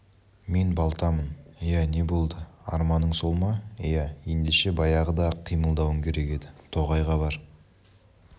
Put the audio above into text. мен балтамын иә не болды арманың сол ма иә ендеше баяғыда-ақ қимылдауың керек еді тоғайға бар